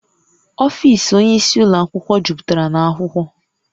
Ọfiisi onye isi ụlọ akwụkwọ juputara na akwụkwọ